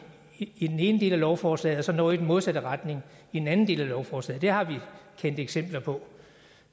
i den ene del af lovforslaget og så noget i den modsatte retning i den anden del af lovforslaget det har vi set eksempler på